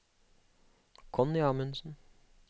Connie Amundsen